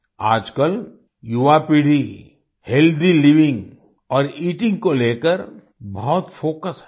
आजकल युवापीढ़ी healthy living और ईटिंग को लेकर बहुत फोकस्ड है